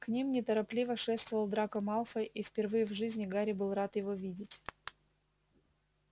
к ним неторопливо шествовал драко малфой и впервые в жизни гарри был рад его видеть